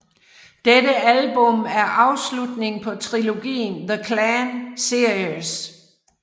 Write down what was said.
Dette album er afslutningen på trilogien The Clan series